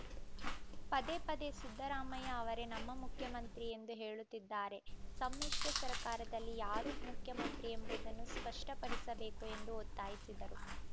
ಪದೇ ಪದೇ ಸಿದ್ದರಾಮಯ್ಯ ಅವರೇ ನಮ್ಮ ಮುಖ್ಯಮಂತ್ರಿ ಎಂದು ಹೇಳುತ್ತಿದ್ದಾರೆ ಸಮ್ಮಿಶ್ರ ಸರ್ಕಾರದಲ್ಲಿ ಯಾರು ಮುಖ್ಯಮಂತ್ರಿ ಎಂಬುದನ್ನು ಸ್ಪಷ್ಟಪಡಿಸಬೇಕು ಎಂದು ಒತ್ತಾಯಿಸಿದರು